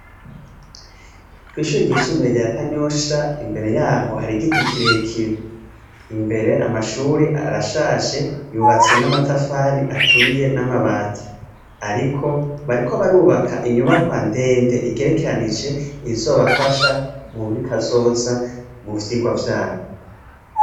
Kw'ishuri ryisumbuye rya Kanyosha, imbere yaho hari igiti kirekire; imbere amashuri arashaje, yubatse n'amatafari aturiye n'amabati. Ariko bariko barubaka inyubakwa ndende igerekeranije, izobafasha muri kazoza, mu vyigwa vyabo.